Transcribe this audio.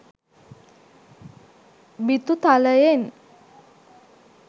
බිතු තලයෙන්